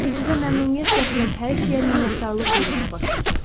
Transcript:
Sizə məmnuniyyət gətirən hər şeyə minnətdarlıq duymağa başlayacaqsınız.